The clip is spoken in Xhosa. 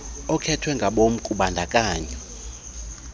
okhethwe ngabom kubandakanyo